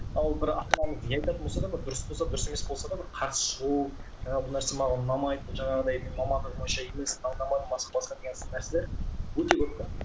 ал бір ата анамыз не айтатын болса да бір дұрыс болса да дұрыс емес болса да бір қарсы шығу жаңағы бұл нәрсе маған ұнамайды бұл жаңағыдай мамандығым бойынша емес мынау ұнамады басқа басқа деген нәрселер өте көп те